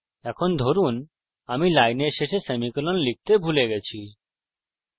এখন ধরুন এখানে আমি লাইনের শেষে সেমিকোলন লিখতে ভুলে গেছি